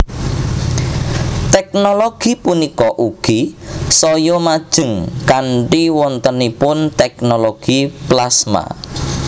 Tèknologi punika ugi saya majeng kanthi wontenipun tèknologi plasma